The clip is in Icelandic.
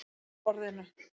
Með orðinu